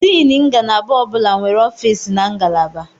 Diini ngalaba ọ bụla nwere ọfịs na ngalaba.